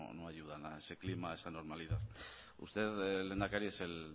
no ayudan a ese clima a esa normalización usted lehendakari es